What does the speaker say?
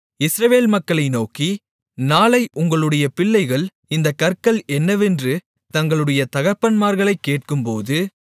இஸ்ரவேல் மக்களை நோக்கி நாளை உங்களுடைய பிள்ளைகள் இந்தக் கற்கள் என்னவென்று தங்களுடைய தகப்பன்மார்களைக் கேட்கும்போது